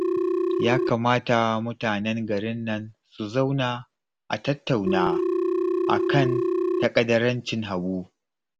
Ya kamata mutanen garin nan su zauna a tattauna a kan taƙadarancin Habu